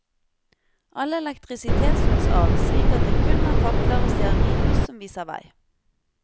All elektrisitet slåes av slik at det kun er fakler og stearinlys som viser vei.